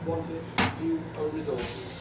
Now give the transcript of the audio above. It wanted new own resources.